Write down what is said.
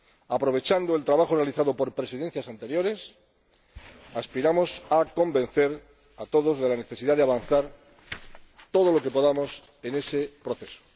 Aprovechando el trabajo realizado por Presidencias anteriores, aspiramos a convencer a todos de la necesidad de avanzar todo lo que podamos en ese proceso.